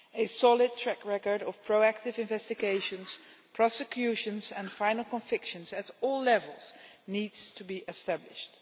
A solid track record of proactive investigations, prosecutions and final convictions, at all levels, needs to be established.